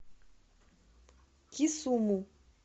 кисуму